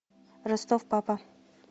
ростов папа